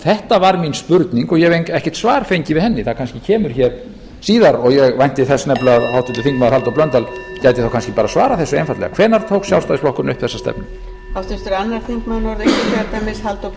þetta var mín spurning og ég hef ekkert svar fengið við henni það kannski kemur hér síðar og ég vænti þess nefnilega að háttvirtur þingmaður halldór blöndal gæti þá kannski bara svarað þessu einfaldlega hvenær tók sjálfstæðisflokkurinn upp þessa stefnu